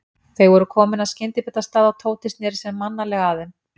Þau voru komin að skyndibitastað og Tóti sneri sér mannalega að þeim.